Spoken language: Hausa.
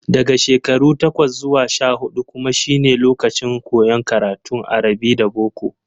Daga shekaru takwas zuwa sha-huɗu kuma shine lokacin koyon karatun arabi da boko.